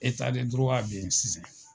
be yen sisan.